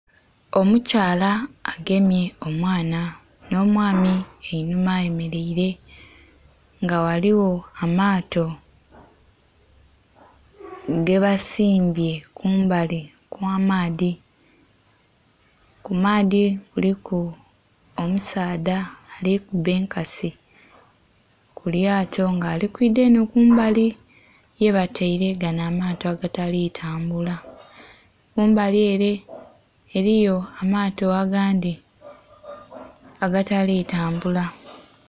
Omukyala agemye omwana nh'omwami einhuma ayemeleire nga ghaligho amaato ge basimbye ku mbali kwa maadhi. Ku maadhi kuliku omusaadha ali kuba enkasi ku lyato nga ali kwidha enho ku mbali ye bataire gale amaato agatali tambula, ku mbali ele eliyo amaato agandhi agatali tambula. tambula.